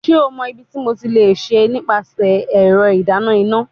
Ṣe o mọ ibiti mo le ṣe nipasẹ ẹrọ idana ina?